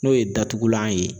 N'o ye datugulan ye